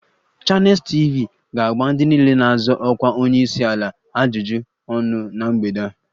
Channels TV ga-agba ndị niile na-azọ ọkwa onye isi ala ajụjụ ọnụ na mgbede a